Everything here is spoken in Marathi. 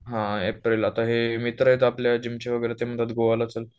हा एप्रिल आत्ता हे मित्र आहेत आपले जिम चे वगैरे, ते म्हणताय गोव्या ला चल